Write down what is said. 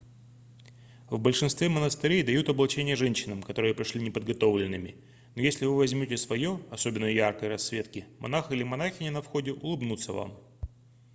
в большинстве монастырей дают облачение женщинам которые пришли неподготовленными но если вы возьмете свое особенно яркой расцветки монах или монахиня на входе улыбнутся вам